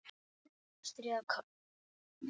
Kálfur, lamb, folald.